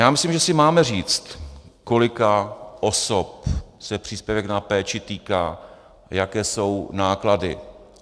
Já myslím, že si máme říct, kolika osob se příspěvek na péči týká, jaké jsou náklady.